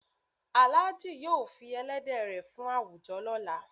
Alhaji yóò fí èlẹ̀dẹ̀ rẹ fún awújọ̀ lọla.